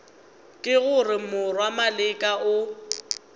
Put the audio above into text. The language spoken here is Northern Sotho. ke gore morwa maleka o